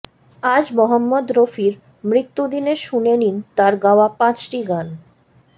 আজ মহম্মদ রফির মৃত্যুদিনে শুনে নিন তাঁর গাওয়া পাঁচটি গান